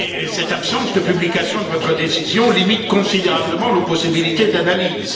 Cette absence de publication de votre décision limite considérablement nos possibilités d'analyse.